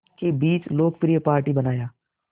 के बीच लोकप्रिय पार्टी बनाया